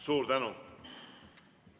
Suur tänu!